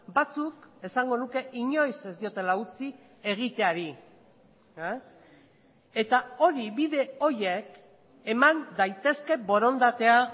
batzuk esango nuke inoiz ez diotela utzi egiteari eta hori bide horiek eman daitezke borondatea